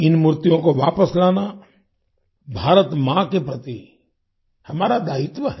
इन मूर्तियों को वापस लाना भारत माँ के प्रति हमारा दायित्व है